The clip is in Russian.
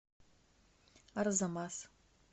арзамас